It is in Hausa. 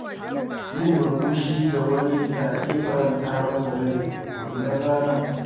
Yin murmushi ga wani na iya faranta masa rai wannan ranar.